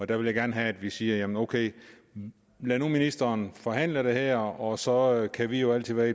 der vil jeg gerne have at vi siger jamen ok lad nu ministeren forhandle det her og så kan vi jo altid være